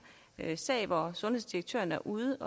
her sag hvor en sundhedsdirektør er ude